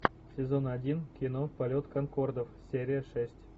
сезон один кино полет конкордов серия шесть